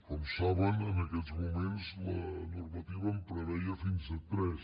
com saben en aquests moments la normativa en preveia fins a tres